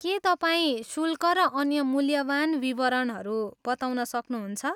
के तपाईँ शुल्क र अन्य मूल्यवान विवरणहरू बताउन सक्नहुन्छ?